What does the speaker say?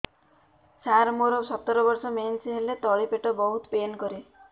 ସାର ମୋର ସତର ବର୍ଷ ମେନ୍ସେସ ହେଲେ ତଳି ପେଟ ବହୁତ ପେନ୍ କରେ